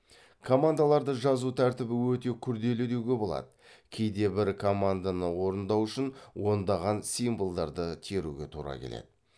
командаларды жазу тәртібі өте күрделі деуге болады кейде бір команданы орындау үшін ондаған символдарды теруге тура келеді